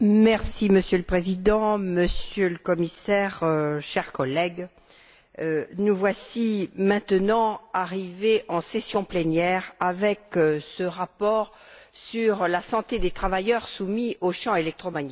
Monsieur le Président, Monsieur le Commissaire, chers collègues, nous voici maintenant arrivés en session plénière avec ce rapport sur la santé des travailleurs soumis aux champs électromagnétiques.